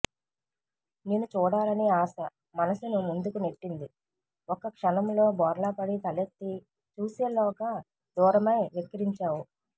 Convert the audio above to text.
నిను చూడాలని ఆశ మనసును ముందుకు నెట్టింది ఒక్క క్షణంలో బోర్లాపడి తలెత్తి చూసేలోగా దూరమై వెక్కిరించావు